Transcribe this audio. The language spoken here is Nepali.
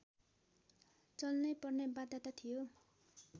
चाल्नैपर्ने बाध्यता थियो